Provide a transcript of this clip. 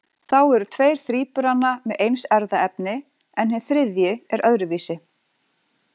Þá eru tveir þríburana með eins erfðaefni en hinn þriðji er öðruvísi.